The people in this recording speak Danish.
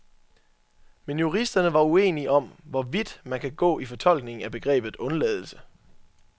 Men juristerne er uenige om, hvor vidt man kan gå i fortolkningen af begrebet undladelse.